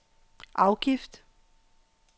afgift